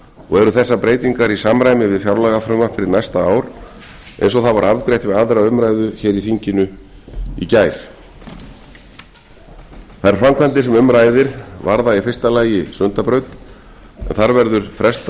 og eru þessar breytingar í samræmi við fjárlagafrumvarp fyrir næsta ár eins og það var afgreitt við aðra umræðu hér í þinginu í gær þær framkvæmdir sem um ræðir varða í fyrsta lagi sundabraut en þar verður frestað